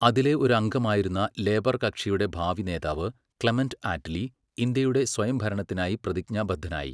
അതിലെ ഒരു അംഗമായിരുന്ന ലേബർ കക്ഷിയുടെ ഭാവി നേതാവ്, ക്ലെമന്റ് ആറ്റ്ലി, ഇന്ത്യയുടെ സ്വയംഭരണത്തിനായി പ്രതിജ്ഞാബദ്ധനായി.